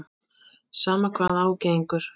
Sama hvað á gengur.